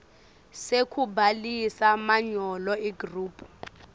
sekubhalisa manyolo igroup